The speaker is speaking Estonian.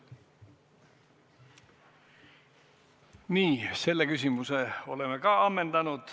Nii, selle küsimuse oleme ka ammendanud.